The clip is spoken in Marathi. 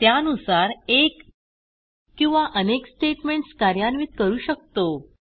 त्यानुसार एक किंवा अनेक स्टेटमेंट्स कार्यान्वित करू शकतो